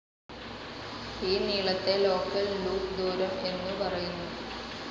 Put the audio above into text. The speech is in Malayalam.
ഈ നീളത്തെ ലോക്കൽ ലൂപ്പ്‌ ദൂരം എന്നു പറയുന്നു.